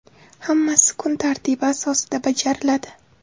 Hammasi kun tartibi asosida bajariladi.